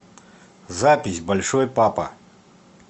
запись большой папа